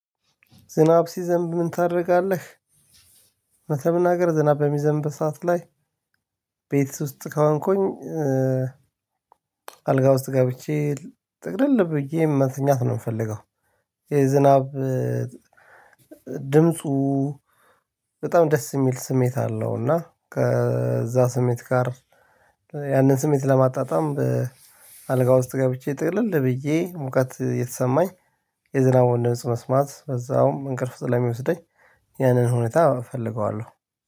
ዝናብ ሲዘንብ ምን ታደርጋለህ? እውነት ለመናገር ዝናብ በሚዘንብ ሰዓት ላይ ቤት ውስጥ ከሆንኩኝ አልጋ ውስጥ ገብቼ ጥቅልል ብዬ መተኛት ነው የምፈልገው። የዝናብ ድምፁ በጣም ደስ የሚል ስሜት አለው። እና ከዛ ስሜት ጋር ያንን ስሜት ለማጣጣም አልጋ ውስጥ ገብቼ ጥቅልል ብዬ ሙቀት እየተሰማኝ የዝናቡን ድምጽ መስማት በዛውም እንቅልፍ ስለሚወስደኝ። ያንን ሁኔታ እፈልገዋለሁ።